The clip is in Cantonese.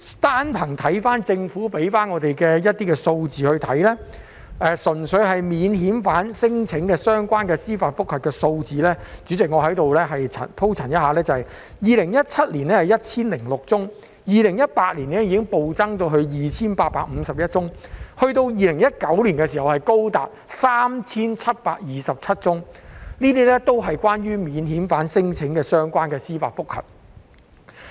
單憑政府提供的一些數字來看，純粹免遣返聲請的相關司法覆核案件數字——主席，請容許我在此鋪陳一下 ——2017 年是 1,006 宗 ，2018 年已經暴增至 2,851 宗 ，2019 年更高達 3,727 宗，這些也是關於免遣返聲請的司法覆核案件。